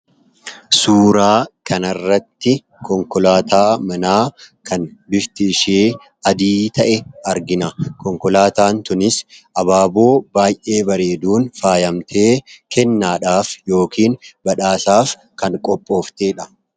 suuraa kanarratti konkolaataa manaa kan bifti ishee adii ta'e argina konkolaataan tunis abaaboo baay'ee bareeduun faayamtee kennaadhaaf yookiin badhaasaaf kan qophoofteedha